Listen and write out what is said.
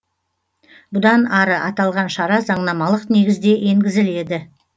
бұдан ары аталған шара заңнамалық негізде енгізіледі